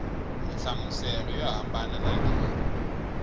nhlamuselo yo hambana na leyi